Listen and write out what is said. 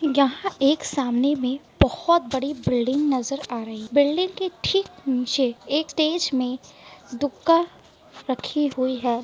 यहाँ एक सामने में बहुत बड़ी बिल्डिंग नजर आ रही है बिल्डिंग के ठीक नीचे एक स्टेज में रखी हुई है।